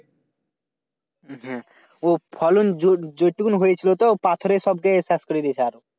আহ ও ফলন যু যুতটুকুন হয়েছিল তো পাথরে সব যে সব শেষ করে দিয়েছে।